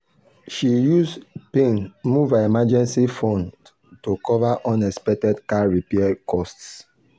she use pain move her emergency fund to cover unexpected car repair costs.